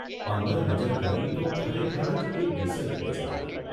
અંદર નજર કરી તો ખરેખર જ એ ડિસન્ટ પ્લેસ લાગી.